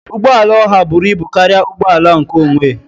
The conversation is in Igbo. Ụgbọ ala oha buru ibu karịa ụgbọ ala nkeonwe